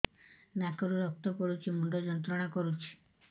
ନାକ ରୁ ରକ୍ତ ପଡ଼ୁଛି ମୁଣ୍ଡ ଯନ୍ତ୍ରଣା କରୁଛି